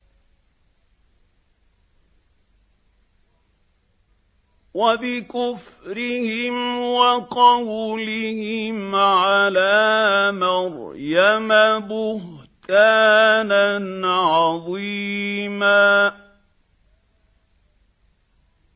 وَبِكُفْرِهِمْ وَقَوْلِهِمْ عَلَىٰ مَرْيَمَ بُهْتَانًا عَظِيمًا